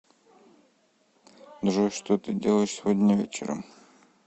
джой что ты делаешь сегодня вечером